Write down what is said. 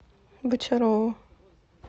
бочарову